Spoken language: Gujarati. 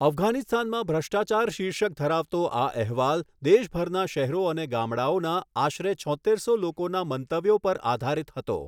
અફઘાનિસ્તાનમાં ભ્રષ્ટાચાર શીર્ષક ધરાવતો આ અહેવાલ દેશભરના શહેરો અને ગામડાઓના આશરે છોત્તેરસો લોકોના મંતવ્યો પર આધારિત હતો.